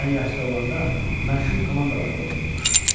Mən yaşda olanda məşhur komandalarda oynayırmış.